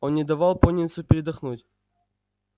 он не давал пониетсу передохнуть